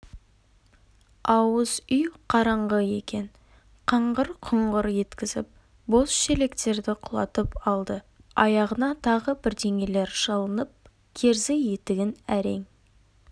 ауыз үй қараңғы екен қаңғыр құңғыр еткізіп бос шелектерді құлатып алды аяғына тағы бірдеңелер шалынып керзі етігін әрең